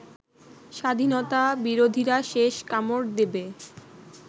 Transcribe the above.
স্বাধীনতা বিরোধীরা শেষ কামড় দেবে